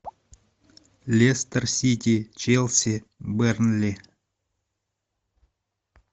лестер сити челси бернли